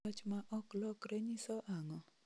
Wach ma ok lokre nyiso ang�o?